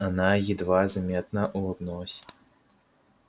она едва заметно улыбнулась